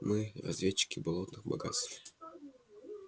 мы разведчики болотных богатств